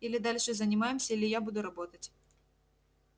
или дальше занимаемся или я буду работать